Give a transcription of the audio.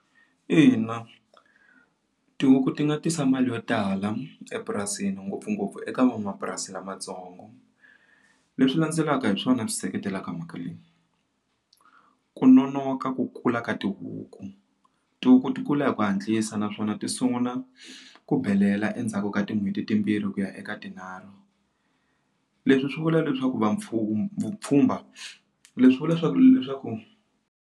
Ina tihuku ti nga tisa mali yo tala epurasini ngopfungopfu eka van'wamapurasi lamatsongo leswi landzelaka hi swona swi seketelaka mhaka leyi ku nonoka ku kula ka tihuku ti kula hi ku hatlisa naswona ti sungula ku belela endzhaku ka tin'hweti timbirhi ku ya eka tinharhu leswi swi vula leswaku vapfhumba vupfhumba leswi vula leswaku leswaku.